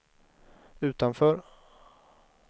utanför